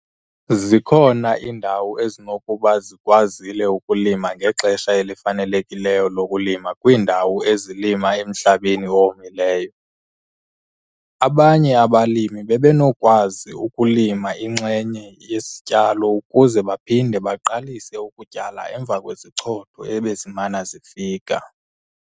Zikhona iindawo ezinokuba zikwazile ukulima ngexesha elifanelekileyo lokulima kwiindawo ezilima emhlabeni owomileyo. Abanye abalimi bebenokukwazi ukulima inxenye yesityalo ukuze baphinde baqalise ukutyala emva kwezichotho ebezimana zifika.